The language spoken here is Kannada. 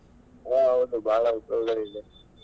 ಹಾ ಹೌದು ಭಾಳ ಉಪಯೋಗಳಿದೆ.